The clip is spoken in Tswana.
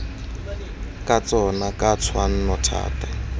ka tsona ka tshwanno thata